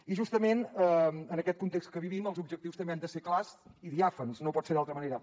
i justament en aquest context que vivim els objectius també han de ser clars i diàfans no pot ser d’altra manera